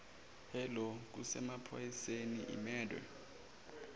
hello kusemaphoyiseni imurder